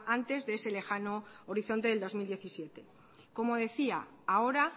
antes de ese lejano horizonte del dos mil diecisiete como decía ahora